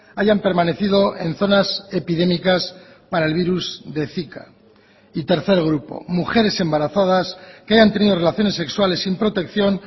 hayan permanecido en zonas epidémicas para el virus de zika y tercer grupo mujeres embarazadas que hayan tenido relaciones sexuales sin protección